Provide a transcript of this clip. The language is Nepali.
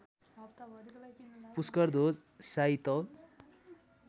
पुष्करध्वज शाही तौल